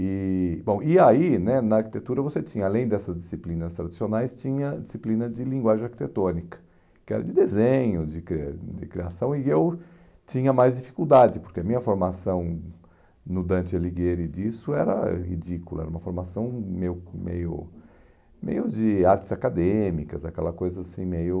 E bom aí né, na arquitetura, você tinha, além dessas disciplinas tradicionais, tinha disciplina de linguagem arquitetônica, que era de desenho, de que de criação, e eu tinha mais dificuldade, porque a minha formação no Dante Alighieri disso era ridícula, era uma formação meio meio meio de artes acadêmicas, aquela coisa assim meio...